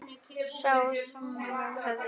Sá hvað þær höfðu gert.